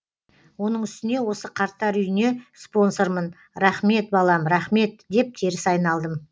оның үстіне осы қарттар үйіне спонсормын рахмет балам рахмет деп теріс айналдым